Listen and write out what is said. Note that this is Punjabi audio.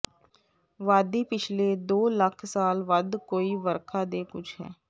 ਵਾਦੀ ਪਿਛਲੇ ਦੋ ਲੱਖ ਸਾਲ ਵੱਧ ਕੋਈ ਵਰਖਾ ਦੇ ਕੁਝ ਹੈ